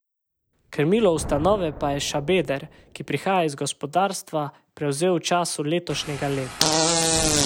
Krmilo ustanove pa je Šabeder, ki prihaja iz gospodarstva, prevzel v začetku letošnjega leta.